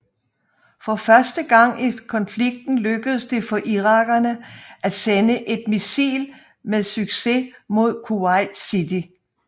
For første gang i konflikten lykkedes det for irakerne at sende et missil med succes mod Kuwait city